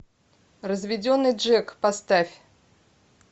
разведенный джек поставь